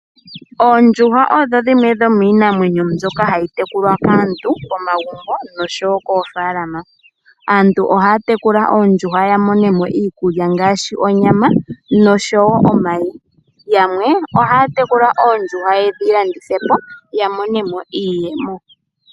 Oondjuhwa odho dhimwe dho miinanywenyo mbyoka hayi tekulwa kaantu momagumbo nosho wo koofalama. Aantu ohaya tekula ondjuhwa ya monemo iikulya ngaashi onyama nosho wo omayi. Yamwe ohaya tekula oondjuhwa yedhi landithe po, ya mone mo iiyemo.